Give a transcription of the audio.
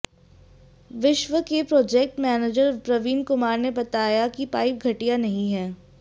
विश्वा के project manager Praveen Kumar ने बताया कि पाइप घटिया नहीं है